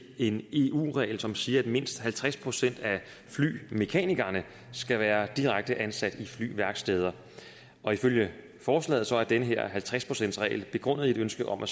en eu regel som siger at mindst halvtreds procent af flymekanikerne skal være direkte ansat i flyværksteder og ifølge forslaget er den her halvtreds procentsregel begrundet i et ønske om at